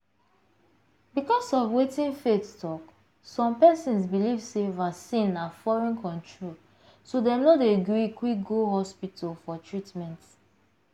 because of wetin faith talk some persons belief sey vaccine na foreign controlso dem no dey gree quick go hospital for treatment.